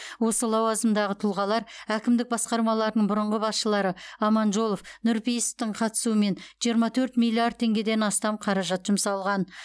осы лауазымдағы тұлғалар әкімдік басқармаларының бұрынғы басшылары аманжолов нұрпейісовтің қатысуымен жиырма төрт миллиард теңгеден астам қаражат жұмсалған